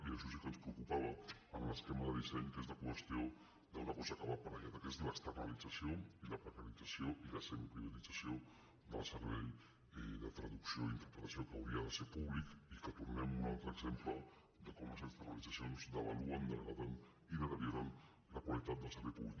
i això sí que ens preocupava en l’es·quema de disseny que és la qüestió d’una cosa que hi va aparellada que és l’externalització i la precaritza·ció i la semiprivatització del servei de traducció i in·terpretació que hauria de ser públic i que tornem a un altre exemple de com les externalitzacions devalu·en degraden i deterioren la qualitat del servei públic